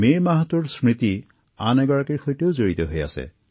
চলিত মাহটো বীৰ ছাভাৰকাৰৰ সৈতেও জড়িত